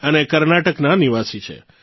અને કર્ણાટકના નિવાસી છે